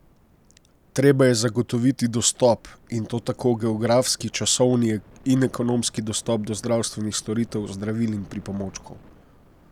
Treba je zagotoviti dostop, in to tako geografski, časovni in ekonomski dostop do zdravstvenih storitev, zdravil in pripomočkov.